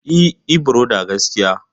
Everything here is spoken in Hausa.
E Ibrother gaskiya.